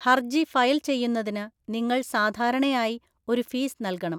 ഹർജി ഫയൽ ചെയ്യുന്നതിന് നിങ്ങൾ സാധാരണയായി ഒരു ഫീസ് നൽകണം.